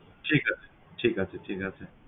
ঠিক আছে, ঠিক আছে ঠিক আছে